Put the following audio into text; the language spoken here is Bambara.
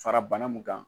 Fara bana mun kan